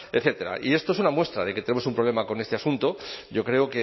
etcétera y esto es una muestra de que tenemos un problema con este asunto yo creo